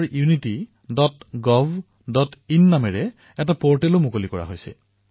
ইয়াৰ বাবে এটা runforunitygovin শীৰ্ষক পৰ্টেল মুকলি কৰা হৈছে